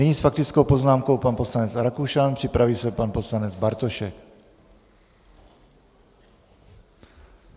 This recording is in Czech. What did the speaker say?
Nyní s faktickou poznámkou pan poslanec Rakušan, připraví se pan poslanec Bartošek.